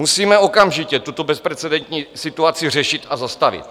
Musíme okamžitě tuto bezprecedentní situaci řešit a zastavit.